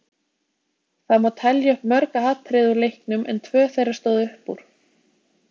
Það má telja upp mörg atriði úr leiknum en tvö þeirra stóðu upp úr.